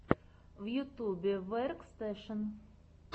в ютьюбе веркстэшен